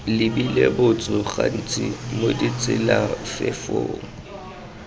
lebile botso gantsi mo ditselafefong